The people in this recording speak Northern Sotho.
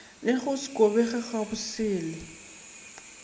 le go se kobege gabosele